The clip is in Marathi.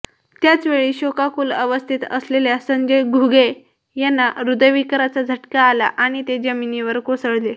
त्याचवेळी शोकाकुल अवस्थेत असलेल्या संजय घुगे यांंना हृदयविकाराचा झटका आला आणि ते जमिनीवर कोसळले